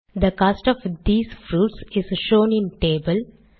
they cost of these fruits is shown in table